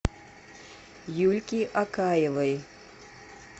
юльки акаевой